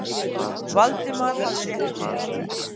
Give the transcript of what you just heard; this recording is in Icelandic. Valdimar hafði rétt fyrir sér.